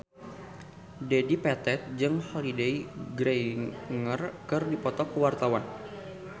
Dedi Petet jeung Holliday Grainger keur dipoto ku wartawan